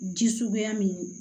Ji suguya min ye